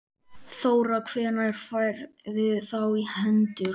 Þóra: Hvenær færðu þá í hendur?